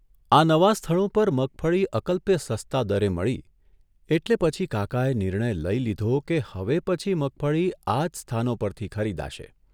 આ નવાં સ્થળો પર મગફળી અકલ્પ્ય સસ્તા દળે મળી એટલે પછી કાકાએ નિર્ણય લઇ લીધો કે હવે પછી મગફળી આ જ સ્થાનો પરથી ખરીદાશે.